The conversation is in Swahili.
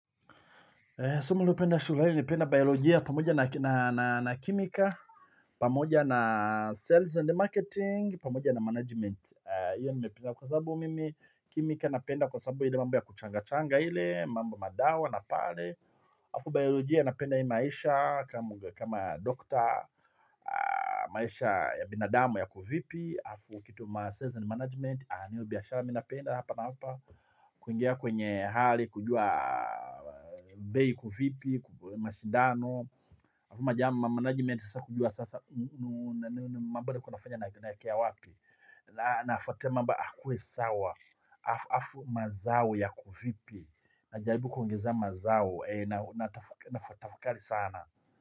Somo nilio penda shuleni nilipenda bayolojia pamoja na kimika, pamoja na sales and marketing, pamoja na management. Iyo nimependa kwa sababu mimi, kimika napenda kwa sababu ile mambo ya kuchanga-changa ile, mambo madawa na pale. Alafu biolojia napenda hii maisha kama doctor, maisha ya binadamu yako vipi, alafu kitu ma sales and management aneo biyashara minapenda hapa na hapa kuingia kwenye hali kujua bei iko vipi mashidano. Hafumajama management sasa kujua sasa mambada kuna fanya naekea wapi na hafataa mamba akuwe sawa. Hafu mazawo ya kuvipi. Najaribu kuingiza mazao tafakali sana.